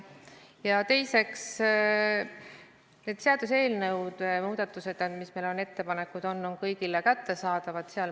Ja teiseks, seaduseelnõud, muudatused, mis meil on, tehtavad ettepanekud on kõigile kättesaadavad.